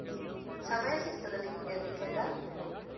ಸಮಯ ಸಿಕ್ತದ ನಿಮ್ಗೆ ಅದಿಕ್ಕೆಲ್ಲಾ?